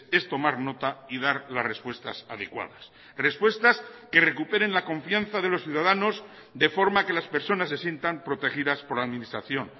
es tomar nota y dar las respuestas adecuadas respuestas que recuperen la confianza de los ciudadanos de forma que las personas se sientan protegidas por la administración